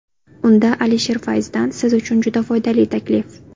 Unda Alisher Fayzdan siz uchun juda foydali taklif!.